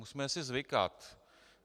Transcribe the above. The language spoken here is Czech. Musíme si zvykat.